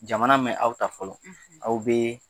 Jamana mɛn aw ta fɔlɔ aw bɛ